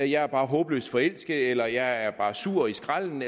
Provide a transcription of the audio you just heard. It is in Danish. jeg er bare håbløst forelsket eller jeg er bare sur i skralden